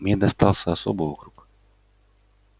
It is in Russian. мне достался особый округ